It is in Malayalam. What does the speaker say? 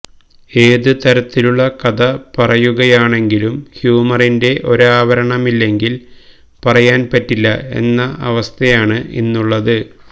ഏതു തരത്തിലുള്ള കഥ പറയുകയാണെങ്കിലും ഹ്യൂമറിന്റെ ഒരാവരണമില്ലെങ്കിൽ പറയാൻ പറ്റില്ല എന്ന അവസ്ഥയാണ് ഇന്നുള്ളത്